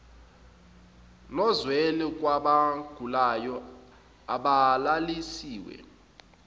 nozwelo kwabagulayo abalalisiwe